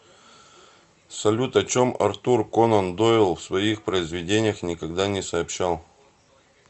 салют о чем артур конан дойл в своих произведениях никогда не сообщал